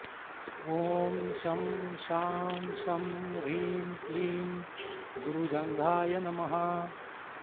ॐ शं शां षं ह्रीं क्लीं गुरुजङ्घाय नमः